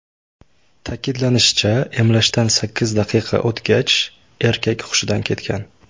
Ta’kidlanishicha, emlashdan sakkiz daqiqa o‘tgach, erkak hushidan ketgan.